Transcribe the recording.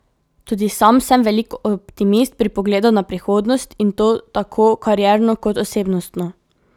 Tudi sam sem velik optimist pri pogledu na prihodnost, in to tako karierno kot osebnostno.